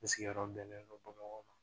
N sigiyɔrɔ bɛnnen don bamakɔ ma